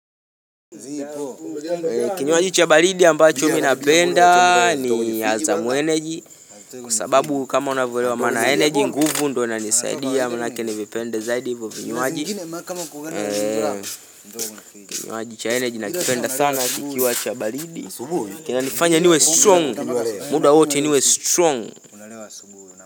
Kinywaji cha baridi ambacho mimi napenda ni hazamu energy Kwa sababu kama unavyolewa maana ya energy nguvu ndio inanisaidia Maanake nivipende zaidi ivo vinywaji Kinywaji cha energy nakipenda sana kikiwa cha baridi kinanifanya niwe strong, muda wote niwe strong.